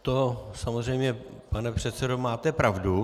To samozřejmě, pane předsedo, máte pravdu.